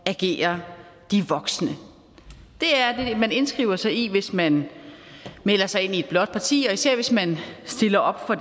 at agere de voksne det er det man indskriver sig i hvis man melder sig ind i et blåt parti og især hvis man stiller op for